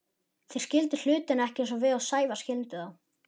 Þeir skildu hlutina ekki eins og við Sævar skildum þá.